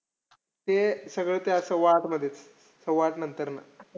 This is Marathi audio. ते सगळं त्या सव्वाआठ मध्येचं. सव्वा आठ नंतरन.